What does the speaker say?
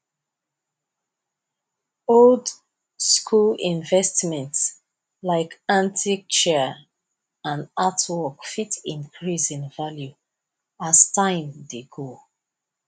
old school investments like antique chair and artwork fit increase in value as time dey go